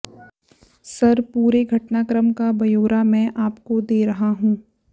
sir पूरे घटनाक्रम का ब्यौरा मैं आपको दे रहा हूं